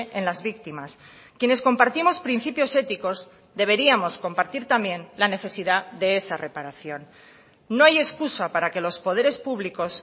en las víctimas quienes compartimos principios éticos deberíamos compartir también la necesidad de esa reparación no hay excusa para que los poderes públicos